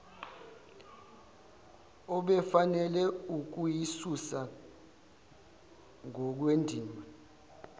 obefanele ukuyisusa ngokwendima